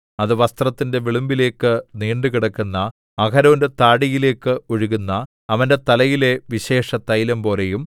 അത് വസ്ത്രത്തിന്റെ വിളുമ്പിലേക്ക് നീണ്ടുകിടക്കുന്ന അഹരോന്റെ താടിയിലേക്ക് ഒഴുകുന്ന അവന്റെ തലയിലെ വിശേഷതൈലം പോലെയും